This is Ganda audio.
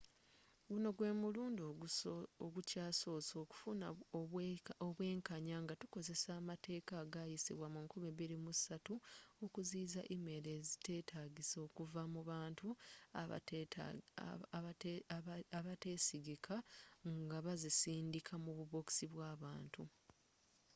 guno gwe mulundi ogukyasoose okufuna obwenkanya nga tukozesa amateeka agayisibwa mu 2003 okuziyiza email eziteetagisa okuva mu bantu abateesigika nga bazisindika mu bubokisi bw'abantu